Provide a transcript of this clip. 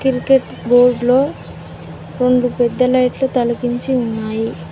Cricket board లో రెండు పెద్ద లైట్ లు తలగించి ఉన్నాయి.